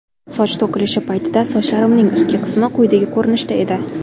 Soch to‘kilishi paytida sochlarimning ustki qismi quyidagi ko‘rinishda edi.